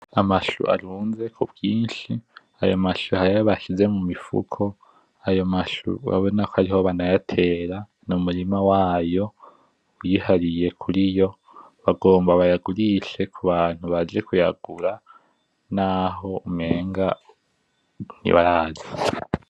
Amachoux arunze kubwinshi, ayo machoux hari ayo bashize mumifuko, ayo machoux urabona ko ariho banayatera, numurima wayo wihariye kuriyo, bagomba bayagurishe kubantu baje kuyagura, naho umenga ntibaraza.